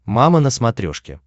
мама на смотрешке